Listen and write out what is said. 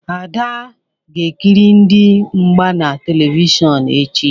Ada ga-ekiri ndị mgba na Televishọnụ echi.